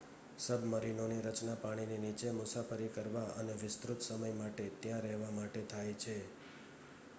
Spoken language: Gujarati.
સબ્મરીનોની રચના પાણીની નીચે મુસાફરી કરવા અને વિસ્તૃત સમય માટે ત્યાં રહેવા માટે થાય છે